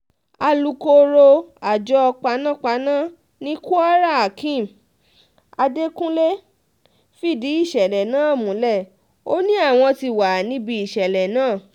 alūkkóró àjọ panápaná ni kwarahakeem adekunle fìdí ìṣẹ̀lẹ̀ náà múlẹ̀ um ó ní àwọn ti wà níbi ìṣẹ̀lẹ̀ um náà